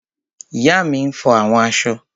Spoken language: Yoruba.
Ìyá mi n fọ àwọn aṣọ